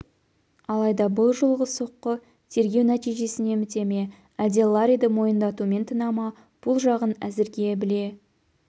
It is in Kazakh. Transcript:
алайда бұл жолғы соққы тергеу нәтижсімен біте әлде ларриді мойындатумен тына ма бұ жағын әзірге біле